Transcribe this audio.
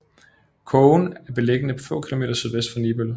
Kogen er beliggende få kilometer sydvest for Nibøl